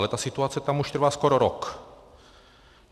Ale ta situace tam už trvá skoro rok.